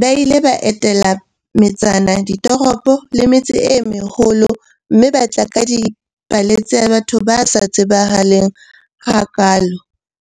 Ba ile ba etela metsana, ditoropo le metse e meholo mme ba tla ka dipale tsa batho ba sa tsebahaleng hakaalo